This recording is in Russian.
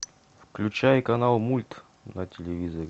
включай канал мульт на телевизоре